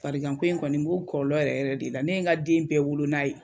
Fargan ko in kɔni n b'o kɔlɔlɔ yɛrɛ yɛrɛ de la ne n ka den bɛɛ wolo n'a ye